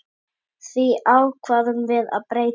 Því ákváðum við að breyta.